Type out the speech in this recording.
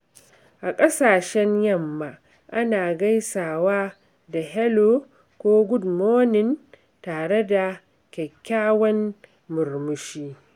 A kasashen Yamma, ana gaisawa da "Hello" ko "Good morning," tare da kyakkyawan murmushi.